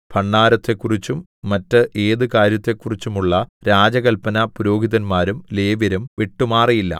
ഭണ്ഡാരത്തെക്കുറിച്ചും മറ്റ് ഏതു കാര്യത്തെക്കുറിച്ചും ഉള്ള രാജകല്പന പുരോഹിതന്മാരും ലേവ്യരും വിട്ടുമാറിയില്ല